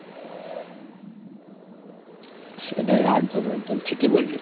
সেটাই একদম একদম ঠিকই বলেছো তুমি।